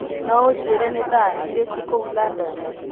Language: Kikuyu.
no ũnjĩĩre nĩ thaa irĩkũ kũũ London